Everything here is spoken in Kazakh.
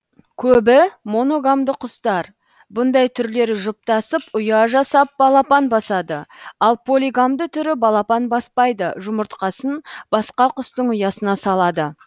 көбі моногамды құстар бұндай түрлері жұптасып ұя жасап балапан басады ал полигамды түрі балапан баспайды жұмыртқасын басқа құстың ұясына салады